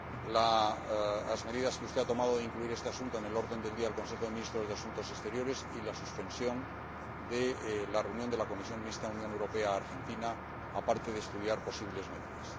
las medidas que usted ha tomado de incluir este asunto en el orden del día del Consejo de Ministros de Asuntos Exteriores, y la suspensión de la reunión de la Comisión Mixta Unión Europea Argentina, aparte de estudiar posibles medidas.